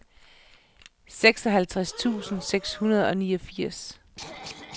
seksoghalvtreds tusind seks hundrede og niogfirs